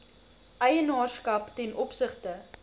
eienaarskap ten opsigte